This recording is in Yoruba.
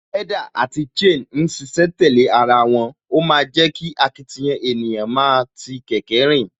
Pedal àti chain ń ṣiṣẹ́ tẹ̀lé ara wọn, ó ma ń jẹ́ kí akitiyan ènìyàn máa ti kẹ̀kẹ́ rìn